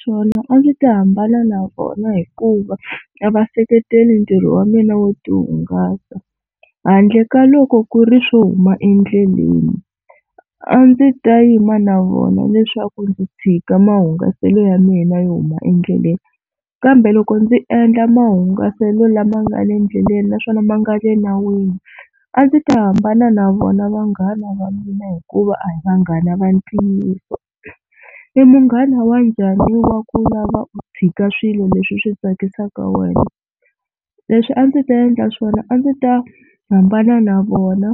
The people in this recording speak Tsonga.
Swona a ndzi ta hambana na vona hikuva a va seketeli ntirho wa mina wo tihungasa handle ka loko ku ri swo huma endleleni a ndzi ta yima na vona leswaku ndzi tshika mahungasele ya mina yo huma endleleni. Kambe loko ndzi endla mahungaselo lama nga le endleleni naswona ma nga le nawini a ndzi ta hambana na vona vanghana va mina hikuva a hi vanghana va ntiyiso. I munghana wa njhani wo va ku lava u tshika swilo leswi swi tsakisaka wena, leswi a ndzi ta endla swona a ndzi ta hambana na vona